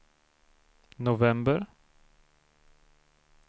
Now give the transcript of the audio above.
november